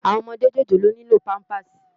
Áwòn òmòdé jójólóò nilò pàmpásí